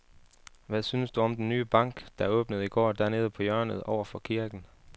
Hvad synes du om den nye bank, der åbnede i går dernede på hjørnet over for kirken?